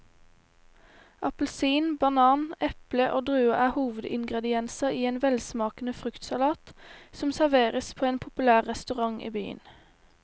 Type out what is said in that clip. Appelsin, banan, eple og druer er hovedingredienser i en velsmakende fruktsalat som serveres på en populær restaurant i byen.